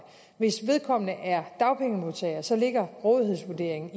hvis vedkommende er dagpengemodtager ligger rådighedsvurderingen